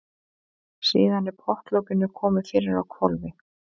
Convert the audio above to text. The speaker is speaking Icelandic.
Síðan er pottlokinu komið fyrir á hvolfi.